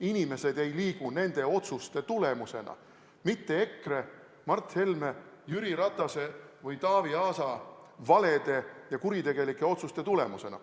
Inimesed ei liigu nende otsuste tulemusena, mitte EKRE, Mart Helme, Jüri Ratase või Taavi Aasa valede ja kuritegelike otsuste tulemusena.